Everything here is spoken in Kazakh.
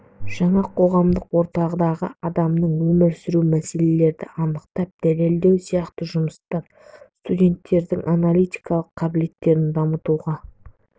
жаңа қоғамдық ортадағы адамның өмір сүруі мәселелерді анықтап дәлелдеу сияқты жұмыстар студенттердің аналитикалық қабілеттерін дамытуға